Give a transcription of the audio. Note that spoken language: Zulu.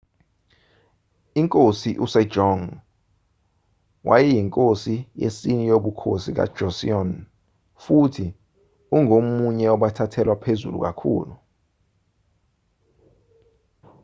inkosi u-sejong wayeyinkosi yesine yobukhosi buka-joseon futhi ungomunye wabathathelwa phezulu kakhulu